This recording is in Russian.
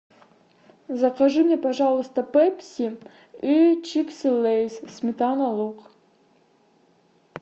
закажи мне пожалуйста пепси и чипсы лейс сметана лук